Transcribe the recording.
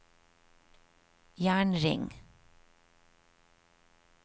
jernring